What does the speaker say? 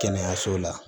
Kɛnɛyaso la